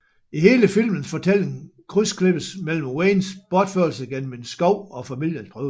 I hele filmens fortælling krydsklippes mellem Waynes bortførelse gennem en skov og familiens prøvelser